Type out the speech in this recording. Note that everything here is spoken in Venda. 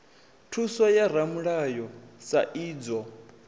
thuso ya ramulayo sa idzwo